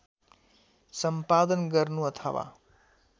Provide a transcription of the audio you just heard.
सम्पादन गर्नु अथवा